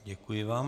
Děkuji vám.